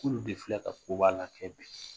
K'alu de filɛ ka koba lakɛ bi